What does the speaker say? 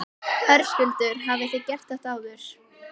Höskuldur: Hafið þið gert þetta áður?